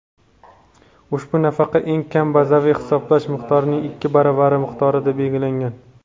Ushbu nafaqa eng kam bazaviy hisoblash miqdorining ikki baravari miqdorida belgilangan.